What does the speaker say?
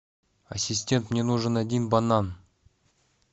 ассистент мне нужен один банан